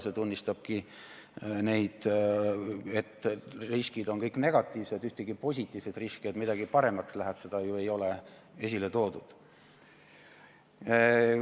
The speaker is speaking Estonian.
See tunnistabki, et riskid on kõik negatiivsed, ühtegi positiivset riski, et midagi paremaks läheb, ei ole ju esile toodud.